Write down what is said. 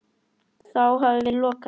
Þá hafi verið lokað.